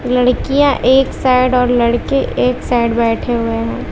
लड़कियां एक साइड और लड़के एक साइड बैठे हुए हैं।